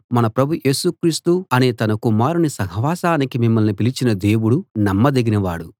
మన ప్రభు యేసు క్రీస్తు అనే తన కుమారుని సహవాసానికి మిమ్మల్ని పిలిచిన దేవుడు నమ్మదగినవాడు